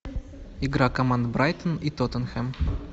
игра команд брайтон и тоттенхэм